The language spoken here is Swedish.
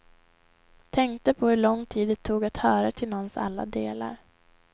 Tänkte på hur lång tid det tog att höra till någons alla delar.